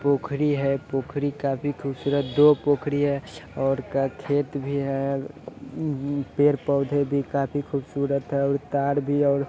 पोखरी है पोखरी काफी खुबसुरत दो पोखरी है और खेत भी है पेड़-पौधे भी काफी खुबसुरत है और तार भी है और --